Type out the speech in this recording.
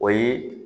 O ye